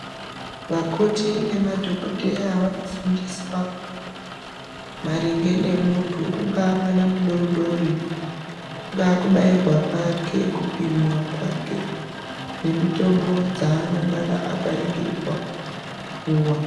Vakoti nemadhokodheya ,vanofundiswa maringe nemuntu, ungava mwana mudodori, kungava kubayirwa kwake, kupimiwa kwake, nemitombo dzaanongana akaringirirwa kupuwa.